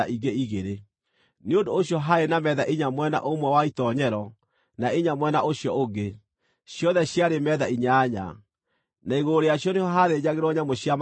Nĩ ũndũ ũcio haarĩ na metha inya mwena ũmwe wa itoonyero, na inya mwena ũcio ũngĩ, ciothe ciarĩ metha inyanya, na igũrũ rĩacio nĩho haathĩnjagĩrwo nyamũ cia magongona.